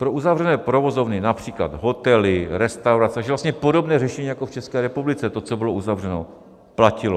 Pro uzavřené provozovny, například hotely, restaurace, takže vlastně podobné řešení jako v České republice, to, co bylo uzavřeno, platilo.